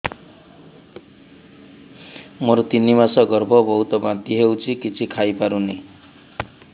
ମୋର ତିନି ମାସ ଗର୍ଭ ବହୁତ ବାନ୍ତି ହେଉଛି କିଛି ଖାଇ ପାରୁନି